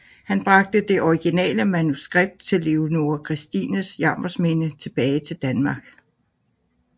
Han bragte det originale manuskript til Leonora Christines Jammersminde tilbage til Danmark